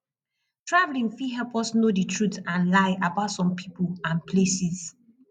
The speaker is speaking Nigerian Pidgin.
travelling fit help us know the truth and lie about some people and places